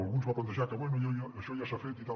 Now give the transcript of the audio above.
algú ens va plantejar que bé això ja s’ha fet i tal